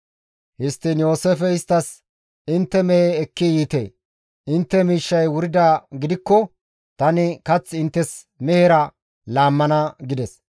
Histtiin Yooseefey isttas, «Intte mehe ekki yiite; intte miishshay wuridaa gidikko tani kath inttes mehera laammana» gides.